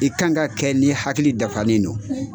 I kan ka ka kɛ n'i hakili dafanen no.